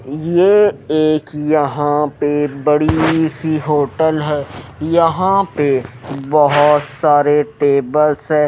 ये एक यहां पे बड़ी सी होटल है। यहां पे बहोत सारे टेबल से--